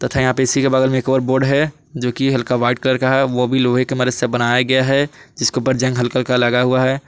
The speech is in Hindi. तथा यहां पे इसी के बगल मे एक और बोट है जो की हल्का व्हाइट कलर का है वो भी लोहे के मदद से बनाया गया है जिसके ऊपर जंग हल्का हल्का लगा हुआ है।